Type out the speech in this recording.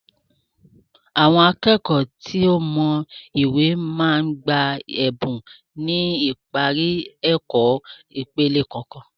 Àwọn akẹ́kọ̀ọ́ tí ó mọ ìwé máa ń gba Ẹ̀bùn ni ipari ẹ̀kọ́ ìpele kọ̀ọ̀kan